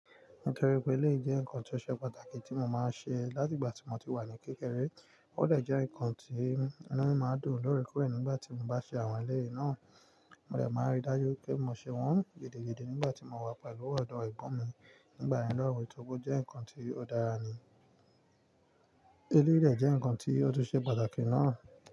Nítorí pé iléyi jẹ́ nǹkan tí ó ṣe pàtàkì tí mo máa ń ṣe láti ìgbà tí mo ti wà ní kékeré. Ó dè jẹ́ nǹkan tí wọ́n máa ń dùn lọ́rẹ kó re nígbà tí mo bá ṣe àwọn iléyi náà. Mo de máa ń ri dájú pé mo ṣe wọ́n gidi-gidi nígbà tí mo wà pẹ̀lú ọ̀dọ̀ Ẹ̀gbọ́n mi nígbà ìlóòrùn torípé jẹ́ nǹkan tí ó dára ni. Eleyi de jẹ́ nǹkan tí ó tún ṣe pàtàkì náà.